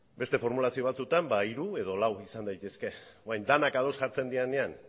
beste formulazio batzutan ba hiru edo lau izan daitezke orain denak ados jartzen direnean